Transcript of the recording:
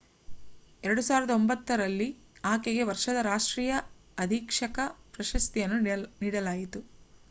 2009 ರಲ್ಲಿ ಆಕೆಗೆ ವರ್ಷದ ರಾಷ್ಟ್ರೀಯ ಅಧೀಕ್ಷಕ ಪ್ರಶಸ್ತಿಯನ್ನು ನೀಡಲಾಯಿತು